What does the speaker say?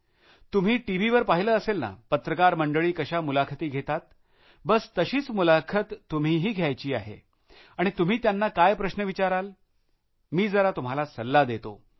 तुम्ही टीव्हीवर पाहिलं असेल ना पत्रकार मंडळी कशा मुलाखती घेतात बस तशीच मुलाखत तुम्हीही घ्यायची आहे आणि तुम्ही त्यांना काय प्रश्न विचाराल मी जरा तुम्हाला सल्ला देतो